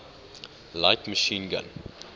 light machine gun